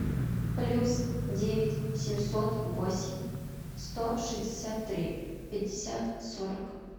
плюс девять семьсот восемь сто шестьдесят три пятьдесят сорок